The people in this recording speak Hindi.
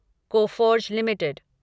Coforge limited